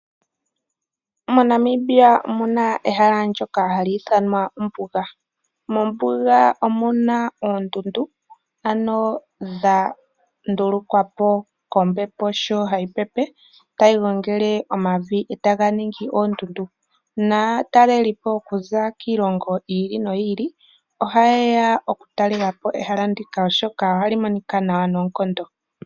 Mo Namibia omuna ehala lyoka hali ithanwa ombuga, mombuga omuna oondundu ano dha ndulukwapo kombepo sho hayi pepe tayi gongele omavi etaga ningi oondundu, naatalelipo okuza kiilongo yi ili noyi ili ohayeya okutalelapo ehala ndika oshoka ohali monika nawa noonkondo.